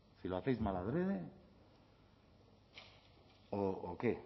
si lo hacéis mal adrede o qué